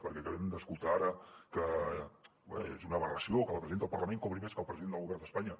pel que acabem d’escoltar ara que és una aberració que la presidenta del parlament cobri més que el president del govern d’espanya